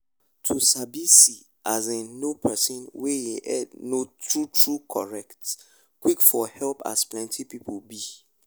to fit sabi see as in know person wey e head no true true correct quick for help as plenty people be